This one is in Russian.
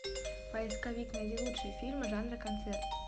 поисковик найди лучшие фильмы в жанре концерт